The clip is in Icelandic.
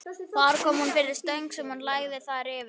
Þar kom hún fyrir stöng sem hún lagði þær yfir.